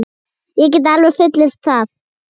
Ég get alveg fullyrt það.